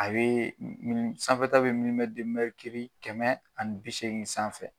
A bee n nn sanfɛta be kɛmɛ ani bi seegin sanfɛ.